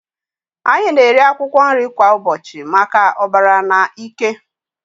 Anyị na-eri akwụkwọ nri kwa ụbọchị maka ọbara na ike.